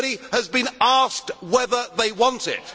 Nobody has been asked whether they want it.